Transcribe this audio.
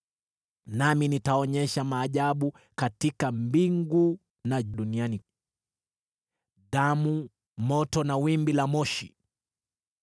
Nami nitaonyesha maajabu katika mbingu na duniani: damu, moto na mawimbi ya moshi.